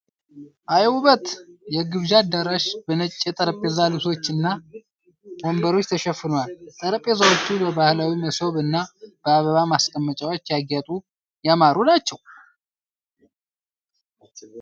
አይ ውበት ! የግብዣ አዳራሽ በነጭ የጠረጴዛ ልብሶች እና ወንበሮች ተሽፍኗል። ጠረጴዛዎቹ በባህላዊ መሶብ እና በአበባ ማስቀመጫዎች ያጌጡ ያማሩ ናቸው።